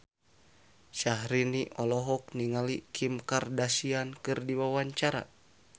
Syahrini olohok ningali Kim Kardashian keur diwawancara